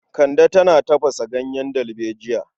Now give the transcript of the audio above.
Kande tana tafasa ganyen dalbejiya.